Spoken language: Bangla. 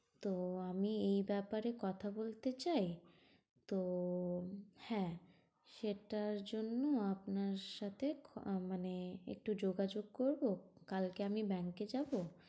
তো আমি এই ব্যাপারে কথা বলতে চাই, তো হ্যাঁ, সেটার জন্য আপনার সাথে খ~ মানে একটু যোগাযোগ করবো, কালকে আমি bank এ যাব?